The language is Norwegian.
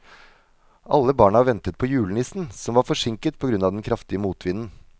Alle barna ventet på julenissen, som var forsinket på grunn av den kraftige motvinden.